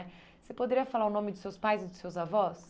Você poderia falar o nome de seus pais e de seus avós?